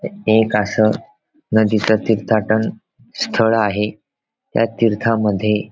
हे एक अस नदीच तीर्थाटन स्थळ आहे त्या तीर्था मध्ये --